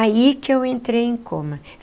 Aí que eu entrei em coma.